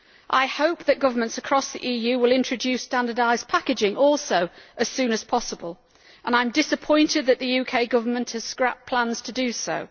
I hope that governments across the EU will also introduce standardised packaging as soon as possible and I am disappointed that the UK government has scrapped plans to do so.